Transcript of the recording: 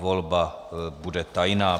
Volba bude tajná.